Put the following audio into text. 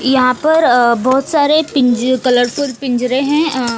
यहां पर अ बहोत सारे पिंज कलरफुल पिंजरे हैं अ--